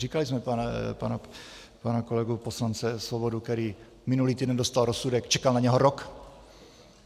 Říkali jsme pana kolegu poslance Svobodu, který minulý týden dostal rozsudek, čekal na něj rok.